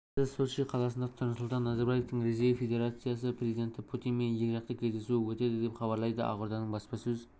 тамызда сочи қаласында нұрсұлтан назарбаевтың ресей федерациясы президенті путинмен екіжақты кездесуі өтеді деп хабарлайды ақорданың баспасөз